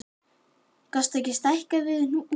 Hjördís Rut Sigurjónsdóttir: Gastu stækkað við þig húsnæði?